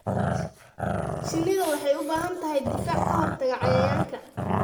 Shinnidu waxay u baahan tahay difaac ka hortagga cayayaanka.